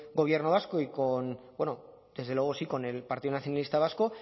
gobierno vasco y con bueno desde luego sí con el partido nacionalista vasco